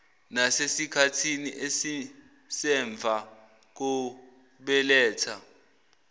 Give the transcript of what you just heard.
nasesikhathini esisemva kokubeletha